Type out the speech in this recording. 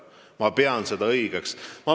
Ma pean seda õigeks.